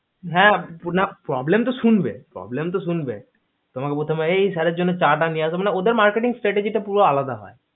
হ্যা না problem তো শুনবেই problem তো শুনবেই তোমাকে প্রথমেই এই sir এর জন্য চা টা নিয়ে আসো মানে ওদের marketing strategie পুরো আলাদা হয়